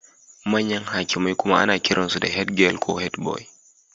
Manyan hakimai kuma ana kiransu da head boy ko head girl.